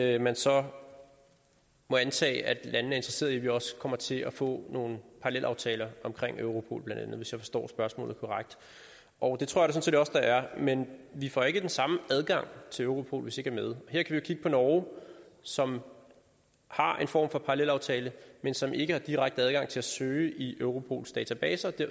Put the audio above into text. at man så må antage at landene er interesseret i at vi også kommer til at få nogle parallelaftaler omkring europol bla hvis jeg forstår spørgsmålet korrekt og det tror jeg set også der er men vi får ikke den samme adgang til europol hvis ikke med her kan vi kigge på norge som har en form for parallelaftale men som ikke har direkte adgang til at søge i europols database og